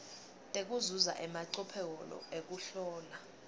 tekuzuza emacophelo ekuhlola